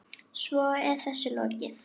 Svo er þessu lokið?